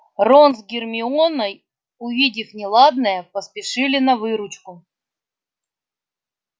рон с гермионой увидев неладное поспешили на выручку